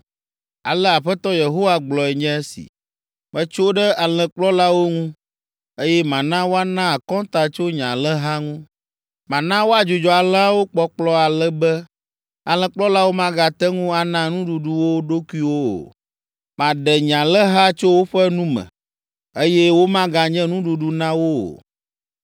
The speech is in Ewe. Alea Aƒetɔ Yehowa gblɔe nye esi: ‘Metso ɖe alẽkplɔlawo ŋu, eye mana woana akɔnta tso nye alẽha ŋu. Mana woadzudzɔ alẽawo kpɔkplɔ ale be, alẽkplɔlawo magate ŋu ana nuɖuɖu wo ɖokuiwo o. Maɖe nye alẽha tso woƒe nu me, eye womaganye nuɖuɖu na wo o.’